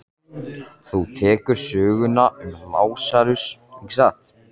Þú þekkir söguna um Lasarus, ekki satt?